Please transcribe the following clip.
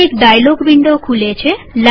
એક dialog window ખુલે છે